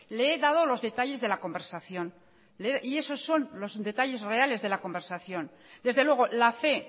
le he dado los detalles de la conversación y eso son los detalles reales de la conversación desde luego la fe